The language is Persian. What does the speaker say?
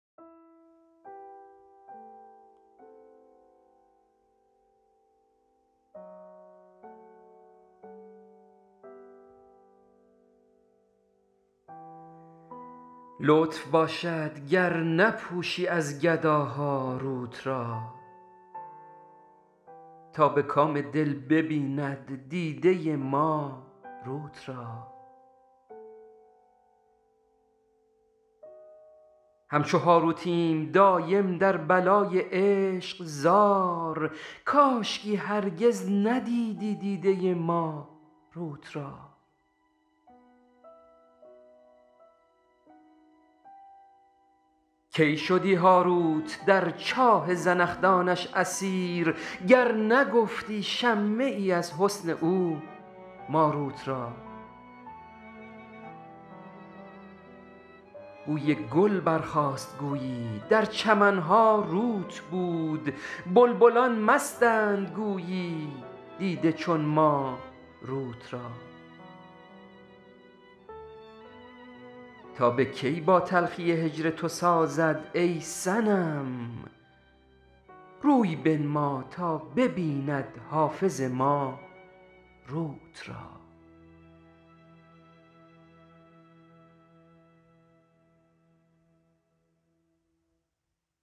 لطف باشد گر نپوشی از گداها روت را تا به کام دل ببیند دیده ما روت را همچو هاروتیم دایم در بلای عشق زار کاشکی هرگز ندیدی دیده ما روت را کی شدی هاروت در چاه زنخدانش اسیر گر نگفتی شمه اى از حسن او ماروت را بوى گل برخاست گویی در چمن ها روت بود بلبلان مستند گویی دیده چون ما روت را تا به کی با تلخى هجر تو سازد اى صنم روى بنما تا ببیند حافظ ما روت را